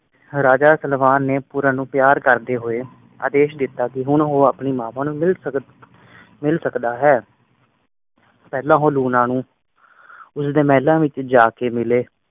ਰਾਜਾ ਸਲਵਾਨ ਨੇ ਪੂਰਨ ਨੂੰ ਪਿਆਰ ਕਰਦੇ ਹੋਏ ਆਦੇਸ਼ ਦਿੱਤਾ ਕਿ ਹੁਣ ਉਹ ਆਪਣੀ ਮਾਵਾਂ ਨੂੰ ਮਿਲ ਸਕ ਮਿਲ ਸਕਦਾ ਹੈ ਪਹਿਲਾਂ ਉਹ ਲੂਣਾ ਨੂੰ ਉਸ ਦੇ ਮਹਿਲਾਂ ਵਿਚ ਜਾ ਕ ਮਿਲੇ